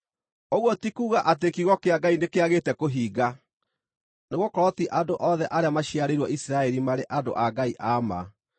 Ũguo ti kuuga atĩ kiugo kĩa Ngai nĩkĩagĩte kũhinga. Nĩgũkorwo ti andũ othe arĩa maciarĩirwo Isiraeli marĩ andũ a Ngai a ma.